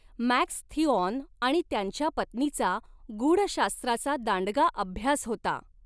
Max Theon आणि त्यांच्या पत्नीचा गूढशास्त्राचा दांडगा अभ्यास होता.